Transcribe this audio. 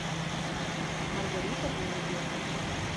маргарита голубева